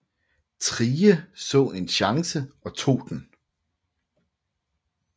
Thrige så en chance og tog den